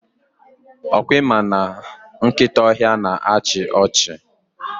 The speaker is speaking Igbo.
Ọkwa ịma na nkịta ọhịa na achị ọchị?